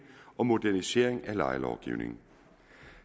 og modernisering af lejelovgivning